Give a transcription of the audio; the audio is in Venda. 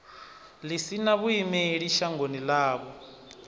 ḽi sina vhuimeli shangoni ḽavho